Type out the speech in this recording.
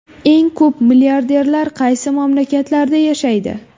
Eng ko‘p milliarderlar qaysi mamlakatlarda yashaydi?.